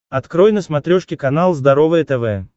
открой на смотрешке канал здоровое тв